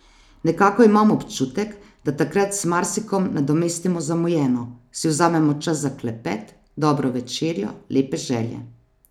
Nekako imam občutek, da takrat z marsikom nadomestimo zamujeno, si vzamemo čas za klepet, dobro večerjo, lepe želje.